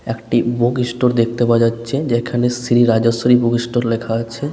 একটি book store দেখতে পাওয়া যাচ্ছে যেখানে শ্রী রাজেশ্বরী বুগ স্টোর লেখা আছে।